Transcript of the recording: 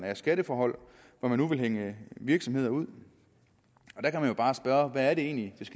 af skatteforhold hvor man nu vil hænge virksomheder ud der kan man bare spørge hvad det egentlig